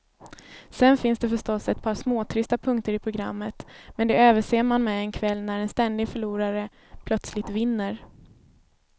Sen finns det förstås ett par småtrista punkter i programmet, men de överser man med en kväll när en ständig förlorare plötsligt vinner.